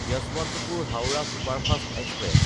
Yesvantpur-Howrah superfast express